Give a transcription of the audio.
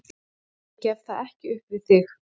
Ég gef það ekki upp við þig.